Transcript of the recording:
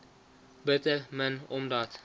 bitter min omdat